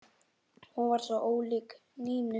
Hún var svo ólík Nínu.